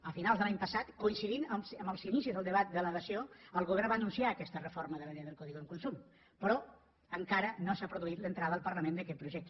a finals de l’any passat coincidint amb els inicis del debat de la dació el govern va anunciar aquesta reforma de la llei del codi de consum però encara no s’ha produït l’entrada al parlament d’aquest projecte